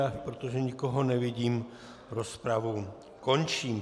A protože nikoho nevidím, rozpravu končím.